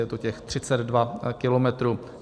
Je to těch 32 kilometrů.